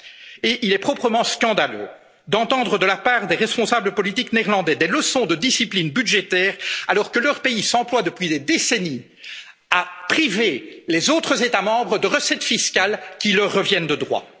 tant. Et il est proprement scandaleux d'entendre, de la part des responsables politiques néerlandais, des leçons de discipline budgétaire, alors que leur pays s'emploie depuis des décennies à priver les autres États membres de recettes fiscales qui leur reviennent